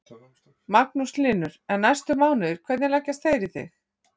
Magnús Hlynur: En næstu mánuðir, hvernig leggjast þeir í þig?